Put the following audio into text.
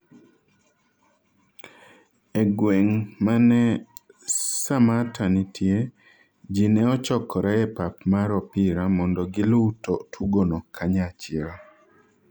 e gweng' mane Samatta nitie, jii ne ochokore e pap mar opira mondo giluw tugono kanyachiel